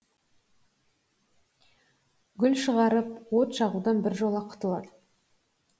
гүл шығарып от жағудан біржола құтылады